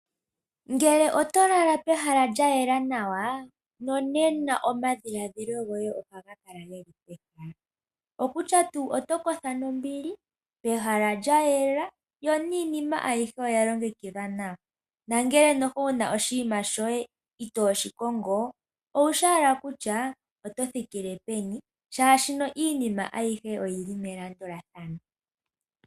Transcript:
Ngele otolala pehala lyayela nawa nonena omadhilaadhilo goye ohaga kala geli pehala, okutya tuu otokotha nombili pehala lya yela yo niinima ayihe oya longekidhwa nawa nuuna tokongo oshinima shoye shimwe owushi owala kutya oto thikile peni oshoka iinima ayihe oyili melandulathano